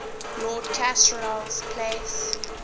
lord castlereagh's place